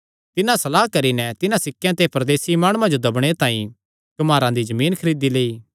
तिन्हां सलाह करी नैं तिन्हां सिक्केयां ते परदेसी माणुआं जो दब्बणे तांई कुम्हारे दा जमीन खरीदी लेई